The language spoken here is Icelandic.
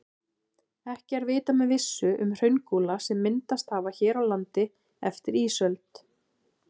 Ekki er vitað með vissu um hraungúla sem myndast hafa hér á landi eftir ísöld.